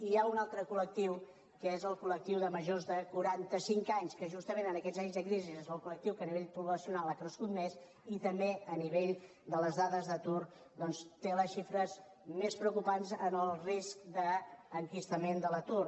i hi ha un altre col·lectiu que és el coljors de quaranta cinc anys que justament en aquests anys de crisi és el colcrescut més i també que a nivell de les dades d’atur doncs té les xifres més preocupants en el risc d’enquistament de l’atur